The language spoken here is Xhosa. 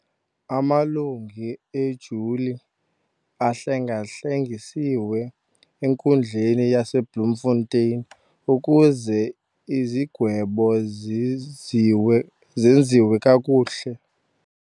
Amalungu ejuli ahlenga-hlengisiwe enkundleni yaseBloemfontein ukuze izigwebo zenziwe zenziwe kakuhle.